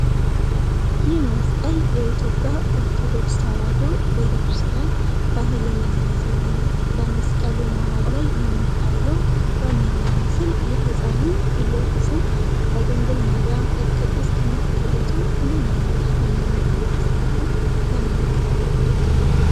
ይህ መስቀል የኢትዮጵያ ኦርቶዶክስ ተዋሕዶ ቤተ ክርስቲያን ባህልን የሚያሳይ ነው። በመስቀሉ መሃል ላይ የሚታየው ዋነኛ ምስል፣ የሕፃኑን ኢየሱስን በድንግል ማርያም እቅፍ ውስጥ መታየቱ ምን ዓይነት ሃይማኖታዊ ክስተትን ያመለክታል?